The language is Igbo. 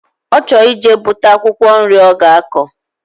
Ochor ije buta akwukwo nri oga ako